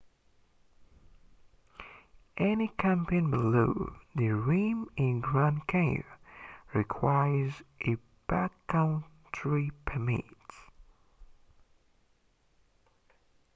any camping below the rim in grand canyon requires a backcountry permit